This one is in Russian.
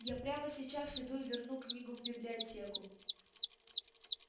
я прямо сейчас иду и верну книгу в библиотеку